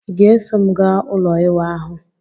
Ị ga-eso m gaa ụlọ iwa ahu?